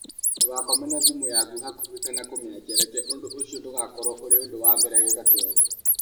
Ndũgakome na thimũ yaku hakuhĩ, kana kũmĩakia reke ũndũ ũcio ndũgakorwo ũrĩ undu wa mbere gwĩka kĩroko.